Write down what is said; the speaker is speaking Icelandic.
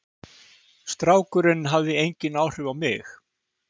Strákurinn hafði engin áhrif á mig.